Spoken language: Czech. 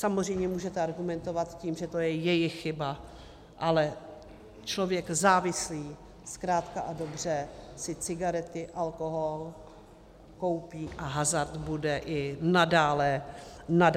Samozřejmě můžete argumentovat tím, že to je jejich chyba, ale člověk závislý zkrátka a dobře si cigarety, alkohol koupí a hazard bude i nadále hrát.